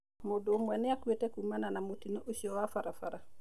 Mũndũ ũmwe nĩ akuĩte kuumana na mũtino ũcio wa barabara